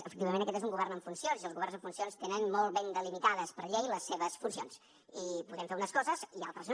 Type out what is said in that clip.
efectivament aquest és un govern en funcions i els governs en funcions tenen molt ben delimitades per llei les seves funcions i podem fer unes coses i altres no